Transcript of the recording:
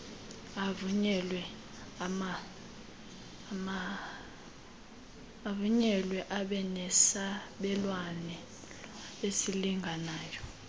avunyelwe abenesabelo esilinganayo